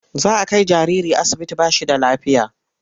Za a kai jariri asibiti ba shi da lafiya.